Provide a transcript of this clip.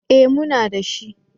Eh muna dashi.